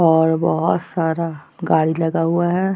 और बहोत सारा गाड़ी लगा हुआ हैं।